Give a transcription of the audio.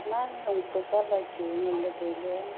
nan long peh colour chu ngan ley tai ley.